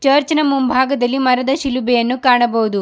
ಚರ್ಚಿನ ಮುಂಭಾಗದಲ್ಲಿ ಮರದ ಶಿಲುಬೆಯನ್ನು ಕಾಣಬಹುದು.